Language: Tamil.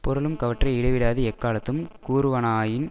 புரளும் கவற்றை இடைவிடாது எக்காலத்தும் கூறுவானாயின்